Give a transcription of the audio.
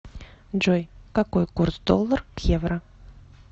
джой какой курс доллар к евро